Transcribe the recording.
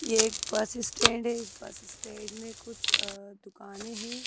ये एक bus stand है इस बस स्टैंड में कुछ अ दुकानें हैं।